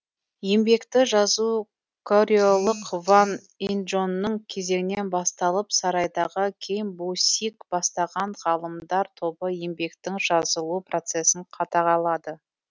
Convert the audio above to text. еңбекті жазу корелық ван инджонның кезеңінен басталып сарайдағы ким бу сик бастаған ғалымдар тобы еңбектің жазылу процесін қадағалады